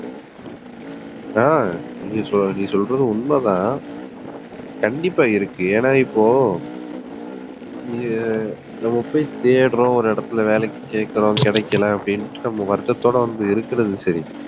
ஆஹ் நீ சொல்றது உண்மைதான் கண்டிப்பா இருக்கு ஏன்னா இப்போ நம்ம போய் தேடுறோம் ஒரு இடத்துல வேலைக்கு கேக்குறோம் கிடைக்கல அப்படின்னுட்டு நம்ம வருத்தத்தோட வந்து இருக்கிறது சரி